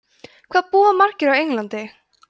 hvað búa margir á englandi